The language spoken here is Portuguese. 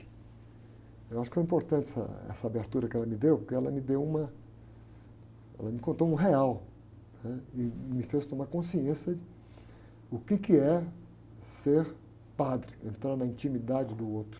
Eu acho que é importante essa, essa abertura que ela me deu, porque ela me deu uma... Ela me contou um real e me fez tomar consciência, o quê que é ser padre, entrar na intimidade do outro.